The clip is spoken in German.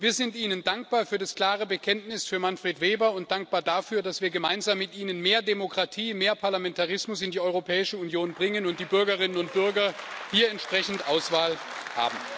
Wir sind Ihnen dankbar für das klare Bekenntnis für Manfred Weber und dankbar dafür, dass wir gemeinsam mit Ihnen mehr Demokratie und mehr Parlamentarismus in die Europäische Union bringen und die Bürgerinnen und Bürger hier entsprechend Auswahl haben.